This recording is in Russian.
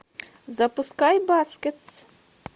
запускай баскетс